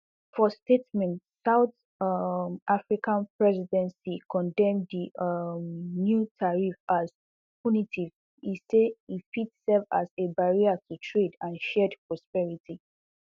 for statement south um african presidency condemn di um new tariffs as punitive e say e fit serve as a barrier to trade and shared prosperity